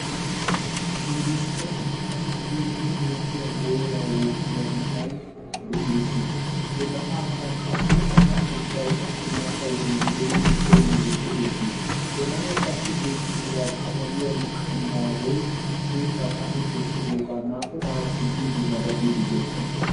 Nu biittan issi keehi metiya booraa wuuqqida na'ay de'eesi. He na'aakka qassi asa ubbay ha"i mata wodiyan doommidi koyiiddi de'eesi. He na'ay qassi beettidoogaa qabaliya liqambbaree sunttaa xaafi kessidoogaa naa"u aawati biiddi nabbabiiddi doosona.